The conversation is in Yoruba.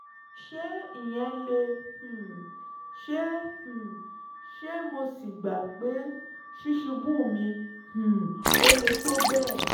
ṣé ìyẹn lè um ṣeé um ṣe mo sì gbà pé ṣíṣubú mi um ò le tó bẹ́ẹ̀